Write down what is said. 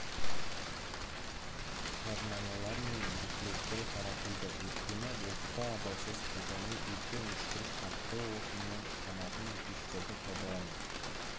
жаднамалар мен буклеттер таратылды өйткені отты абайсыз қолдану өте мүшкіл қатты отынмен жанатын пештерді пайдалану